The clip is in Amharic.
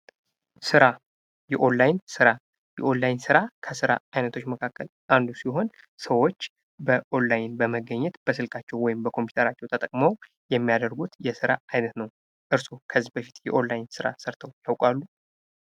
ስራ ፦ የኦላይን ስራ ፦ የኦላይን ስራ ከስራ አይነቶች መካከል አንዱ ሲሆን ሰዎች በኦላይን በመገኘት በስልካቸው ወይም በኮምፒተራቸው ተጠቅመው የሚያደርጉት የስራ አይነት ነው ። እርሶ ከዚህ በፊት የኦላይን ስራ ሰርተው ያውቃሉ ?